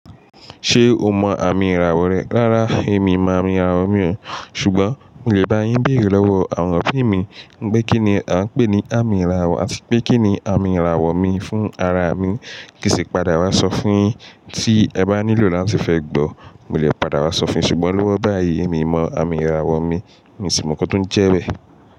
Ṣé o mọ àmì ìràwọ̀ rẹ rárá? Èmi mọ àmì ìràwọ̀ mi o. Ṣùgbọ́n, mo le bá yín béèrè lọ́wọ́ àwọn ọ̀rẹ́ mi pé kí ni a ń pè ní àmì ìràwọ̀ àti pé kí ni àmì ìràwọ̀ mi fún ara mi. Kì í sì padà wá sọ fún yín tí ẹ bá nílò láti fẹ́ gbọ́. Mo le padà wá sọ fún yín ṣùgbọ́n lọ́wọ́ báyìí mi mọ àmì ìràwọ̀ mi, mi sì mọ nkan tó ń jẹ́bẹ̀